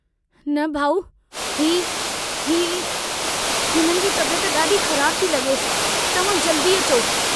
न भाउ ही ही... हिननि जी तबियत ॾाढी ख़राबु थी लगे तव्हां जल्दी अचो।